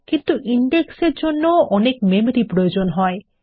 কিন্তু ইনডেক্স এর জন্যও অনেক মেমরি প্রয়োজন হতে পারে